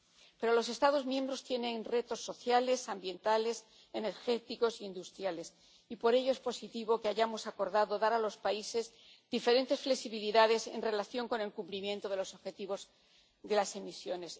Pero los Estados miembros tienen retos sociales, ambientales, energéticos e industriales, y por ello es positivo que hayamos acordado dar a los países diferentes flexibilidades en relación con el cumplimiento de los objetivos de las emisiones.